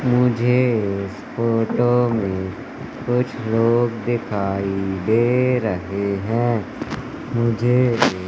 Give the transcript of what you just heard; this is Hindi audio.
मुझे इस फोटो में कुछ लोग दिखाई दे रहे हैं मुझे--